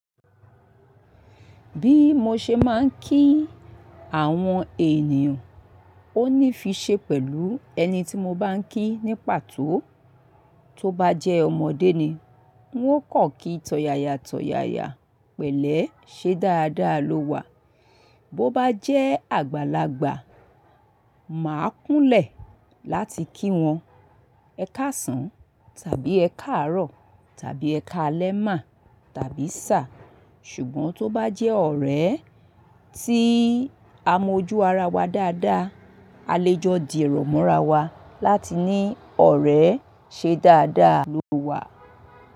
Bí mo ṣe ma ń kí àwọn ènìyàn, ó ní fi ṣe pẹ̀lú ẹni tí mo bá ń kí ní pàtó. Tó bá jẹ́ ọmọdé ni, wọn kò kí tọ̀yàyà tọ̀yàyà pẹ̀lẹ́ ṣe dáadáa ló wà. Bo bá jẹ́ àgbàlagbà, màá kúnlẹ̀ láti kí wọn ẹ káàsán tàbí ẹ káàárọ̀ tàbí ẹ káalẹ́ mà tàbí sá. Ṣùgbọ́n tó bá jẹ́ ọ̀rẹ́ tí a mọ ojú ara wa dáadáa, a lè jọ di èrò mọ́ra wa láti ní ọ̀rẹ́ ṣe dáadáa ló wà.